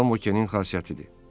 Madam Vokenin xasiyyətidir.